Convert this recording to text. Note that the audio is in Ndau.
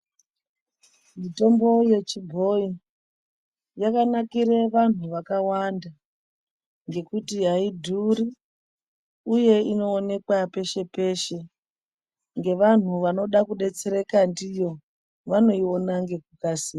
Mitombo yechibhoyi yakanakire vantu vakawanda ngekuti aidhuri uye inoonekwa peshe peshe ngevantu vanoda kudetsereka ndiyo vanoiona ngekukasira.